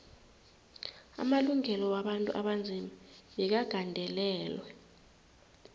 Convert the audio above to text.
amalungelo wabantu abanzima bekagandelelwe